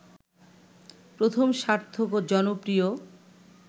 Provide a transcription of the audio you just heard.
প্রথম সার্থক ও জনপ্রিয়